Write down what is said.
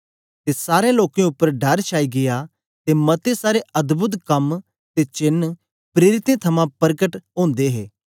ते सारें लोकें उपर डर छाई गीया ते मते सारे अद्भोद कम ते चेन्न प्रेरितें थमां परकट ओदे हे